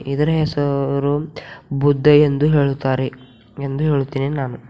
ಇದರ ಹೆಸರು ಬುದ್ಧ ಎಂದು ಹೇಳುತ್ತಾರೆ ಎಂದು ಹೇಳುತ್ತೇನೆ ನಾನು--